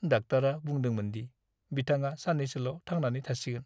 डाक्टारा बुंदोंमोन दि बिथाङा साननैसोल' थांनानै थासिगोन।